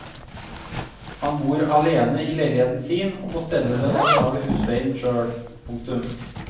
Han bor alene i leiligheten sin og må stelle den og betale husleien selv. punktum